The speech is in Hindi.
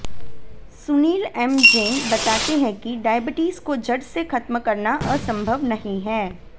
सुनील एम जैन बताते हैं कि डायबिटीज को जड़ से खत्म करना असंभव नहीं है